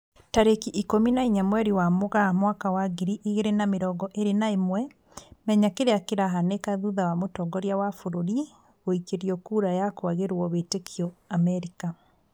Tarĩki ikũmi na inya mweri wa Mũgaa mwaka wa ngiri igĩri na mĩrongo ĩri na ĩmwe, Menya kĩrĩa kĩrahanĩka thutha wa mũtongoria wa bũrũri guikĩrio kura ya kwagĩrwo wĩtĩkio Amerika